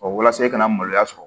walasa i kana maloya sɔrɔ